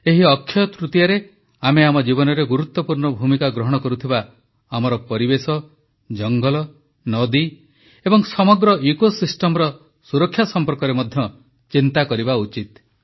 ଏହି ଅକ୍ଷୟ ତୃତୀୟାରେ ଆମେ ଆମ ଜୀବନରେ ଗୁରୁତ୍ୱପୂର୍ଣ୍ଣ ଭୂମିକା ଗ୍ରହଣ କରୁଥିବା ଆମର ପରିବେଶ ଜଙ୍ଗଲ ନଦୀ ଏବଂ ସମଗ୍ର ଇକୋସିଷ୍ଟମର ସୁରକ୍ଷା ସମ୍ପର୍କରେ ମଧ୍ୟ ଚିନ୍ତା କରିବା ଉଚିତ